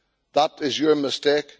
That is your mistake.